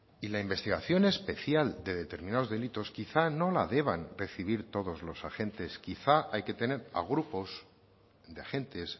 y la investigación especial de determinados delitos quizá no la deban recibir todos los agentes quizá hay que tener a grupos de agentes